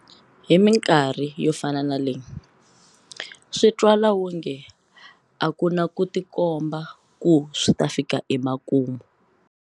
Hi mikarhi yo fana na leyi, swi twala wonge a ku na ku tikomba ku swi ta fika emakumu.